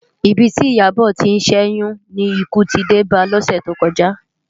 Ibi ti Iyabo ti n ṣèyún ni ikú ti dé bá lòsè tókòjá